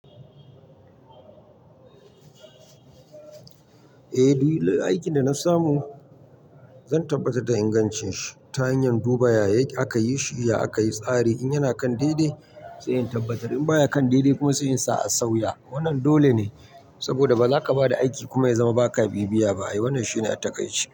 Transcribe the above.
Eh, duk aikin da na samu zan tabbatar da ingancin shi ta hanyar duba ya aka yi shi, ya aka yi tsari in yana kan dai dai sai in tabbatar in ba ya kan dai dai kuma sai in sa a sauya. Wannan dole ne saboda ba za ka ba da aiki kuma ya zama ba ka bibiya ba. Wannan shine a taƙaice.